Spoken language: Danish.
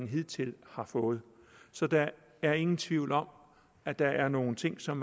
hidtil har fået så der er ingen tvivl om at der er nogle ting som